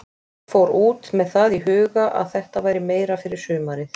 Ég fór út með það í huga að þetta væri meira fyrir sumarið.